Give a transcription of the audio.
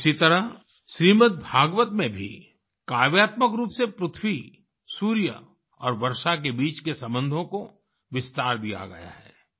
इसी तरह श्रीमद् भागवत में भी काव्यात्मक रूप से पृथ्वी सूर्य और वर्षा के बीच के संबंधों को विस्तार दिया गया है